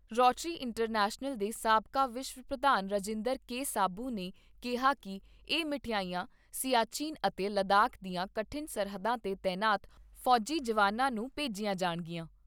Rotary International ਦੇ ਸਾਬਕਾ ਵਿਸ਼ਵ ਪ੍ਰਧਾਨ ਰਾਜਿੰਦਰ ਕੇ ਸਾਬੂ ਨੇ ਕਿਹਾ ਕਿ ਇਹ ਮਠਿਆਈਆਂ ਸਿਆਚਿਨ ਅਤੇ ਲਦਾਖ ਦੀਆਂ ਕਠਿਨ ਸਰਹੱਦਾਂ ਤੇ ਤਾਇਨਾਤ ਫੌਜੀ ਜਵਾਨਾਂ ਨੂੰ ਭੇਜੀਆਂ ਜਾਣਗੀਆਂ।